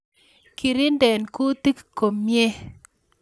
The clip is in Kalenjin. Kirinde kutik komyei